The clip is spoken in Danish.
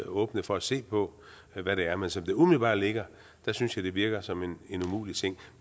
åbne for at se på hvad det er men som det umiddelbart ligger synes jeg det virker som en umulig ting